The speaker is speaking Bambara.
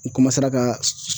N ka